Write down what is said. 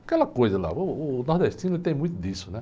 Aquela coisa lá, o o nordestino tem muito disso.